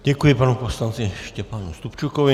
Děkuji panu poslanci Štěpánu Stupčukovi.